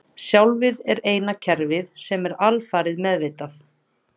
Sjálfið er eina kerfið sem er alfarið meðvitað.